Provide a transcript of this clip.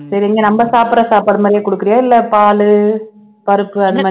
சரி இங்க நம்ம சாப்பிடற சாப்பாடு மாதிரியே குடுக்கறயா இல்லை பாலு பருப்பு அந்த